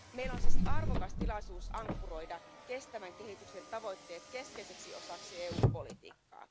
Meillä on siis arvokas tilaisuus ankkuroida kestävän kehityksen tavoitteet keskeiseksi osaksi EUn politiikkaa.